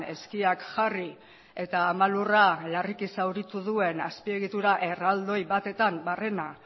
eskiak jarri eta ama lurra larriki zauritu duen azpiegitura erraldoi batetan barrena